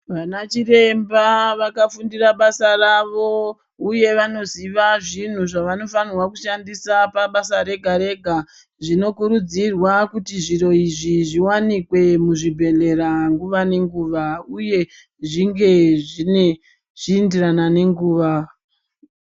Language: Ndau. Vanachiremba vakafundira vasa ravo uye vanoziva zvinhu zvavanofanirwa kushandisa pabasa rega-rega. Zvinokurudzirwa kuti zviro izvi zviwanikwe muzvibhedhlera nguva nenguva uye zvinge zvichiindirana nenguva.